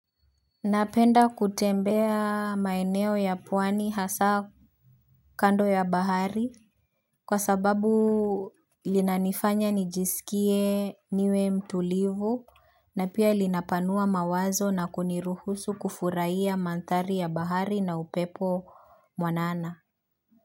Napenda kutembea maeneo ya pwani hasa kando ya bahari kwa sababu linanifanya nijisikie niwe mtulivu na pia linapanua mawazo na kuniruhusu kufurahia mandhari ya bahari na upepo mwanana.